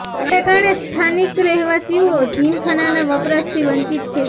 આને કારણે સ્થાનિક રહેવાસીઓ આ જિમખાનાના વપરાશથી વંચિત છે